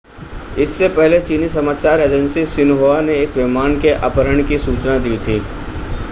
इससे पहले चीनी समाचार एजेंसी शिन्हुआ ने एक विमान के अपहरण की सूचना दी थी